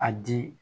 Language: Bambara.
A di